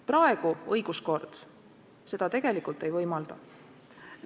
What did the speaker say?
Praegu õiguskord seda tegelikult ei võimalda.